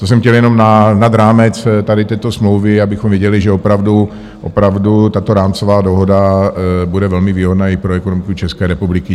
To jsem chtěl jenom nad rámec tady této smlouvy, abychom viděli, že opravdu tato rámcová dohoda bude velmi výhodná i pro ekonomiku České republiky.